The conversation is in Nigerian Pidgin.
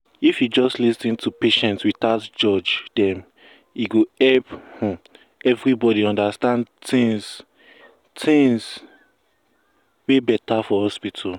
if you just lis ten to patient without judge dem e go help um everybody understand things things um better for hospital um